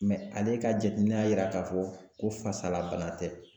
ale ka jateminɛ y'a yira k'a fɔ ko fasala bana tɛ